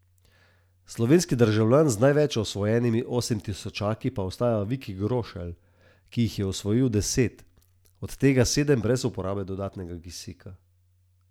Slovenski državljan z največ osvojenimi osemtisočaki pa ostaja Viki Grošelj, ki jih je osvojil deset, od tega sedem brez uporabe dodatnega kisika.